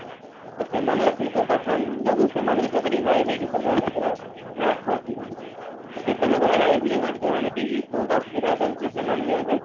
ତ ସେମାନେ ଆସିକି ସେଇ pathan ଯୋଗୁ ସେମାନେ ବି ସବୁ revive ହେଇକି ସବୁ ଏବେ ପୁରା track କୁ ଆସିଗଲେ କେତେ ଲୋକଙ୍କର ବହୁତ ଅସୁବିଧାରେ ଚଳୁ ଥିଲେ ସେମାନେ ବି ଏବେବ